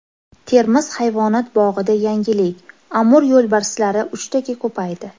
Termiz hayvonot bog‘ida yangilik Amur yo‘lbarslari uchtaga ko‘paydi.